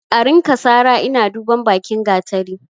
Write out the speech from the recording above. A rinka sara ina duban bakin gatari?